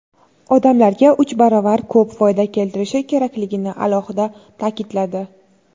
odamlarga uch baravar ko‘p foyda keltirishi kerakligini alohida ta’kidladi.